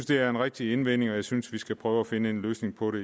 det er en rigtig indvending og jeg synes at vi skal prøve at finde en løsning på det